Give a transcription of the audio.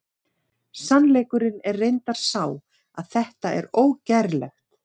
Sannleikurinn er reyndar sá að þetta er ógerlegt!